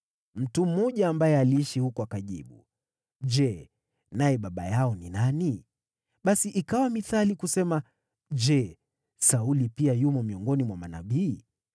Mtu mmoja ambaye aliishi huko akajibu, “Je, naye baba yao ni nani?” Basi ikawa mithali, kusema, “Je, Sauli pia yumo miongoni mwa manabii?”